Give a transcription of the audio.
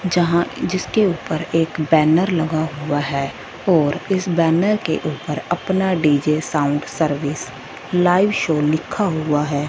यहां जिसके ऊपर एक बैनर लगा हुआ है और इस बैनर के ऊपर अपना DJ sound service live show लिखा हुआ है।